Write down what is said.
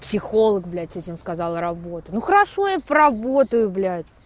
психолог блять этим сказал работа ну хорошо я поработаю блять